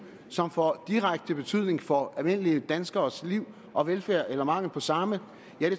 som får direkte betydning for almindelige danskeres liv og velfærd eller mangel på samme